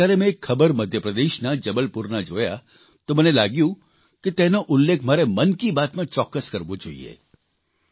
એટલે જ જયારે મેં એક ખબર મધ્યપ્રદેશના જબલપુરના જોયા તો મને લાગ્યું કે તેનો ઉલ્લેખ મારે મન કી બાતમાં ચોક્કસ કરવો જોઇએ